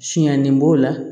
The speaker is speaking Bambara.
Siɲannen b'o la